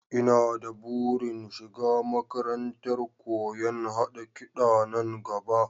Ina da burin shiga makarantar koyon haɗa kiɗa nan gaba